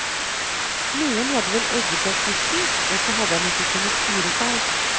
Noen hadde vel egget opp gutten, og så hadde han ikke kunnet styre seg.